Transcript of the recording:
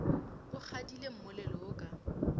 o kgadile mmolelo wo ka